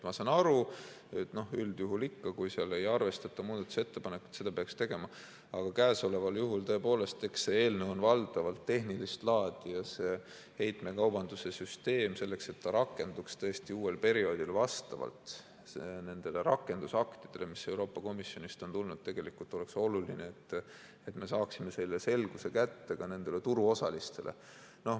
Ma saan aru, et üldjuhul, kui ei arvestata muudatusettepanekut, seda peaks tegema, aga see eelnõu on valdavalt tehnilist laadi ja see heitmekaubanduse süsteem peaks rakenduma uuel perioodil vastavalt nendele rakendusaktidele, mis Euroopa Komisjonist on tulnud, ning oleks oluline, et me saaksime selle selguse kätte ka turuosalistele.